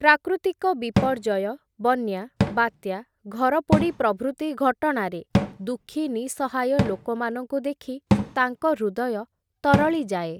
ପ୍ରାକୃତିକ ବିପର୍ଯ୍ୟୟ, ବନ୍ୟା, ବାତ୍ୟା, ଘରପୋଡ଼ି ପ୍ରଭୃତି ଘଟଣାରେ, ଦୁଃଖି ନିଃସହାୟ ଲୋକମାନଙ୍କୁ ଦେଖି, ତାଙ୍କ ହୃଦୟ ତରଳିଯାଏ ।